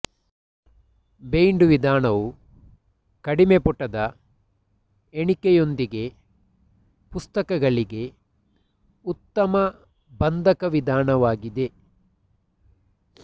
bind ವಿಧಾನವು ಕಡಿಮೆ ಪುಟದ ಎಣಿಕೆಯೊಂದಿಗೆ ಪುಸ್ತಕಗಳಿಗೆ ಉತ್ತಮ ಬಂಧಕ ವಿಧಾನವಾಗಿದೆ